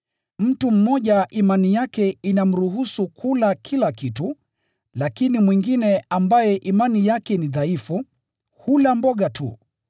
Mtu mmoja imani yake inamruhusu kula kila kitu, lakini mwingine ambaye imani yake ni dhaifu, hula mboga tu.